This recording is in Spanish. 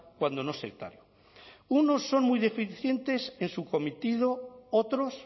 unos son muy deficientes en su cometido otros